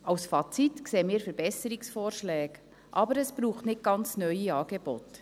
Als Fazit sehen wir Verbesserungsvorschläge, aber es braucht nicht ganz neue Angebote.